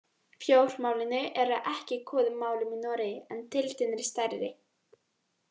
Fjármálin eru ekki í góðum málum í Noregi en deildin er stærri.